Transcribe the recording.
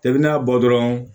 I bɛ n'a bɔ dɔrɔn